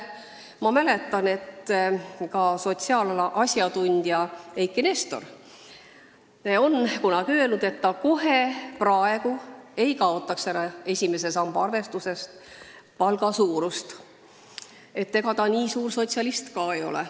Ma mäletan, et sotsiaalala asjatundja Eiki Nestor on kunagi öelnud, et kohe praegu ta esimese samba arvestusest palga suurust ära ei kaotaks, et nii suur sotsialist ta ka ei ole.